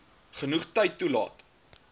genoeg tyd toelaat